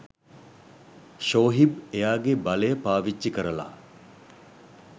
ෂෝහිබ් එයාගේ බලය පාවිච්චි කරලා